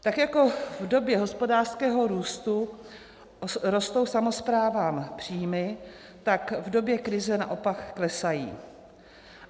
Tak jako v době hospodářského růstu rostou samosprávám příjmy, tak v době krize naopak klesají.